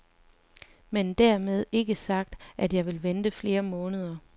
Men dermed ikke sagt, at jeg vil vente flere måneder.